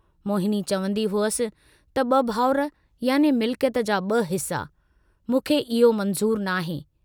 मोहिनी चवन्दी हुअसि त ब भाउर याने मिल्कयत जा ब हिस्सा, मूंखे इहो मंज़ूर नाहे।